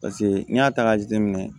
Paseke n'i y'a ta k'a jateminɛ